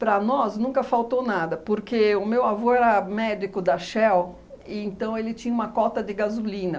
Para nós nunca faltou nada, porque o meu avô era médico da Shell, então ele tinha uma cota de gasolina.